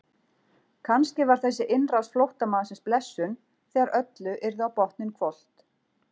Kannski var þessi innrás flóttamannsins blessun þegar öllu yrði á botninn hvolft.